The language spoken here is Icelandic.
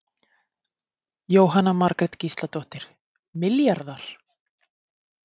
Jóhanna Margrét Gísladóttir: Milljarðar?